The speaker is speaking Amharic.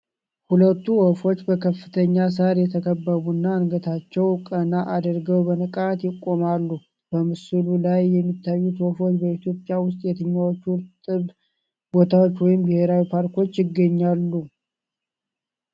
ሁለቱ ወፎች በከፍተኛ ሣር የተከበቡና አንገታቸውን ቀና አድርገው በንቃት ይቆማሉ። በምስሉ ላይ የሚታዩት ወፎች በኢትዮጵያ ውስጥ የትኞቹ እርጥብ ቦታዎች ወይም ብሔራዊ ፓርኮች ይገኛሉ?